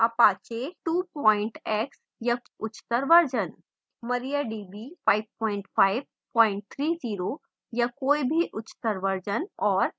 apache 2 x या उच्चतर version